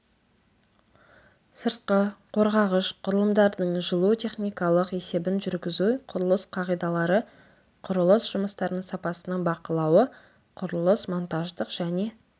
сыртқы қоршағыш құрылымдардың жылу техникалық есебін жүргізу құрылыс қағидалары құрылыс жұмыстарының сапасының бақылауы құрылыс монтаждық және